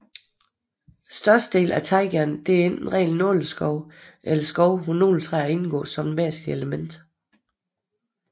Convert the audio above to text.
Størstedelen af taigaen er enten ren nåleskov eller skov hvor nåletræer indgår som et væsentligt element